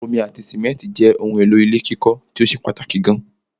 Omi ati simẹ́ntì jẹ́ ohun èlò ilé kíkọ́ tíó ṣe pàtàkì gan